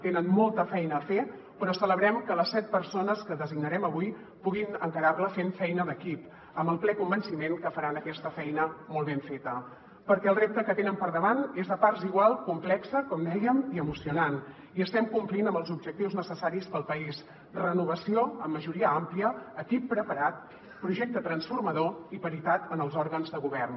tenen molta feina a fer però celebrem que les set persones que designarem avui puguin encarar la fent feina d’equip amb el ple convenciment que faran aquesta feina molt ben feta perquè el repte que tenen per davant és a parts iguals complex com dèiem i emocionant i estem complint amb els objectius necessaris per al país renovació amb majoria àmplia equip preparat projecte transformador i paritat en els òrgans de govern